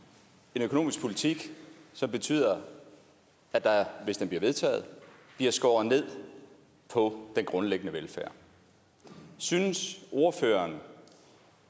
en økonomisk politik som betyder at der hvis det bliver vedtaget bliver skåret ned på den grundlæggende velfærd synes ordføreren